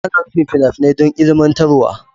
Ana nufin fina-finai don ilmantarwa.